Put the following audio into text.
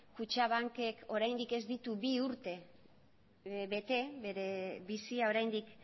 kutxabankek oraindik ez ditu bi urte bete bere bizia oraindik